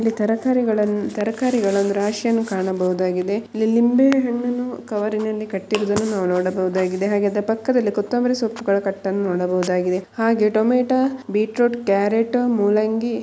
ಇಲ್ಲಿ ತರಕಾರಿಗಳ ತರಕಾರಿಗಳ ರಾಶಿಯನ್ನು ಕಾಣಬಹುದಾಗಿದೆ ಇಲ್ಲಿ ನಿಂಬೆ ಹಣ್ಣನ್ನು ಕವರಿನಲ್ಲಿ ಕಟ್ಟು ಹಿಕ್ಕಿರುವುದನ್ನು ನಾವಿಲ್ಲಿ ನೋಡಬಹುದು ಆಗಿದೆ ಹಾಗೆ ಪಕ್ಕದಲ್ಲಿ ಕೊತ್ತಂಬರಿ ಸೊಪ್ಪಿನ ಕಟ್ಟನ್ನು ನೋಡಬಹುದು ಆಗಿದೆ ಹಾಗೆ ಟೊಮೊಟೊ ಬೀಟ್ರೂಟ್ ಕ್ಯಾರೆಟ್ ಮೂಲಂಗಿ ಇನ್ನಿತರ--